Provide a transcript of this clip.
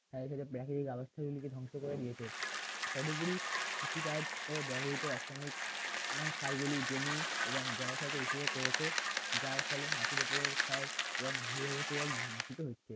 গুলিকে ধ্বংস করে দিয়েছে কতগুলি কৃষিকাজ এর ব্যবহৃত রাসায়নিক এবং সারগুলি জমি এবং জলাশয়কে করেছে যার ফলে মাটির উপরের ক্ষয় এবং ভূগর্ভস্থ জল লিখিত হচ্ছে